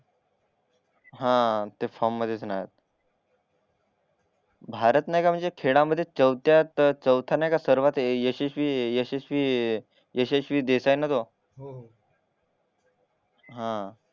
हा ते फॉर्म मध्येच नाही भारत नाय का म्हणजे खेळामध्ये चौथ्यात चौथा नाही का यशस्वी यशस्वी यशस्वी देसाई ना तो